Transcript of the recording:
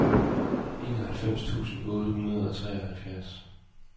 enoghalvfems tusind otte hundrede og treoghalvfjerds